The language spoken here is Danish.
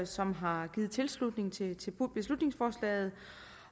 som har givet tilslutning til til beslutningsforslaget